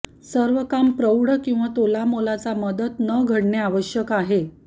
सर्व काम प्रौढ किंवा तोलामोलाचा मदत न घडणे आवश्यक आहे